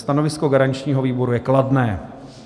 Stanovisko garančního výboru je kladné.